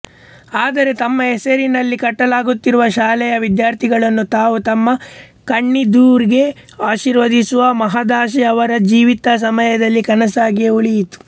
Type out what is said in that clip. ಆದರೆ ತಮ್ಮ ಹೆಸರಿನಲ್ಲಿ ಕಟ್ಟಲಾಗುತ್ತಿರುವ ಶಾಲೆಯ ವಿದ್ಯಾರ್ಥಿಗಳನ್ನು ತಾವು ತಮ್ಮ ಕಣ್ಣೆದುರಿಗೇ ಆಶೀರ್ವದಿಸುವ ಮಹದಾಶೆ ಅವರ ಜೀವಿತಸಮಯದಲ್ಲಿ ಕನಸಾಗಿಯೇ ಉಳಿಯಿತು